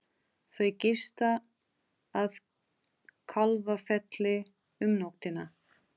Þau gista að Kálfafelli um nóttina.